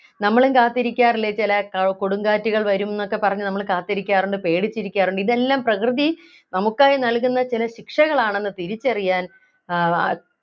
നമ്മളും കാത്തിരിക്കാറില്ലേ ചില ഏർ കൊടുങ്കാറ്റുകൾ വരും ന്നൊക്കെ പറഞ്ഞു നമ്മളു കാത്തിരിക്കാറുണ്ട് പേടിച്ചിരിക്കാറുണ്ട് ഇതെല്ലാം പ്രകൃതി നമുക്കായി നൽകുന്ന ചില ശിക്ഷകൾ ആണെന്ന് തിരിച്ചറിയാൻ ആഹ്